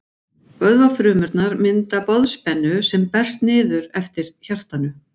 Vöðvafrumurnar mynda boðspennu sem berst niður eftir hjartanu.